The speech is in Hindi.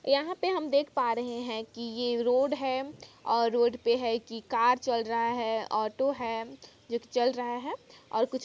यहाँ पे हम देख पा रहे हैं कि ये रोड है और रोड पे है की कार चल रहा है ऑटो है जो की चल रहा है और कुछ--